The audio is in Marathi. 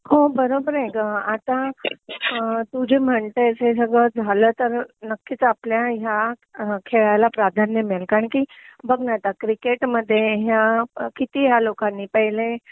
हो बरोबर आहे ग आता तू जे म्हणतेस हे सगळं झालं तर नक्कीच आपल्या ह्या खेळाला प्राधान्य मिळेल कारण कि बघ ना आता क्रिकेटमध्ये ह्या किती ह्या लोकांनी पहिले